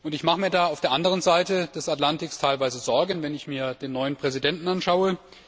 Ich mache mir da für die andere Seite des Atlantiks teilweise Sorgen, wenn ich mir den neuen Präsidenten anschaue.